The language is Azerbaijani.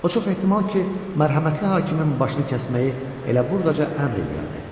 O çox ehtimal ki, mərhəmətli hakimin başını kəsməyi elə burdaca əmr eləyərdi.